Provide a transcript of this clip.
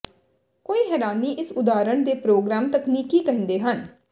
ਕੋਈ ਹੈਰਾਨੀ ਇਸ ਉਦਾਹਰਨ ਦੇ ਪ੍ਰੋਗਰਾਮ ਤਕਨੀਕੀ ਕਹਿੰਦੇ ਹਨ